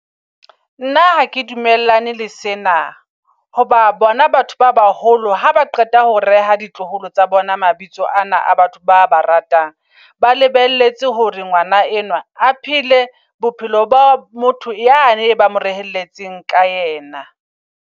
Nna ha ke dumellane le sena. Hoba bona batho ba baholo ha ba qeta ho reha ditloholo tsa bona mabitso ana a batho ba ba ratang. Ba lebelletse hore ngwana enwa a phele bophelo ba motho yane eba moreyelletseng ka yena.